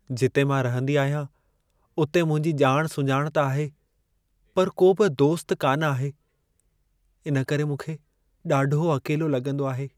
जिते मां रहंदी आहियां, उते मुंहिंजी ॼाण- सुञाण त आहे, पर को बि दोस्त कान आहे। इन करे मूंखे ॾाढो अकेलो लॻंदो आहे।